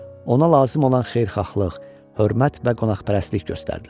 Ona lazım olan xeyirxahlıq, hörmət və qonaqpərvərlik göstərdilər.